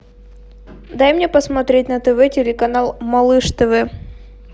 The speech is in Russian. дай мне посмотреть на тв телеканал малыш тв